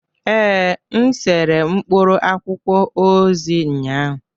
Ee, m sere mkpụrụ akwụkwọ ozi ụnyahụ